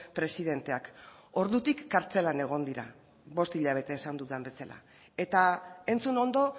presidenteak ordutik kartzelan egon dira bost hilabete esan dudan bezala eta entzun ondo